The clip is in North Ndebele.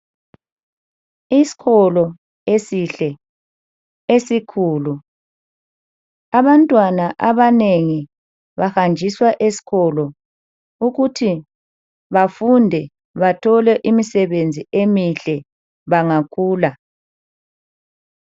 Isikolo esihle esikhulu. Abantwana abanengi bahanjiswa esikolo ukuthi bafunde bathole imisebenzi emihle bangakhula.